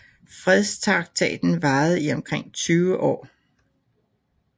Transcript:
Fredstraktaten varede i omkring tyve år